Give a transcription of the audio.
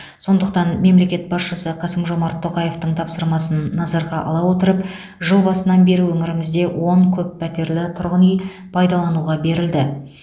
сондықтан мемлекет басшысы қасым жомарт тоқаевтың тапсырмасын назарға ала отырып жыл басынан бері өңірімізде он көппәтерлі тұрғын үй пайдалануға берілді